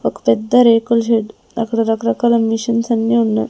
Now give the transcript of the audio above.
ఒక పెద్ద రేకుల షెడ్డు అక్కడ రకరకాల మిషన్స్ అన్ని ఉన్నాయి.